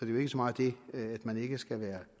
jo ikke så meget det at man ikke skal være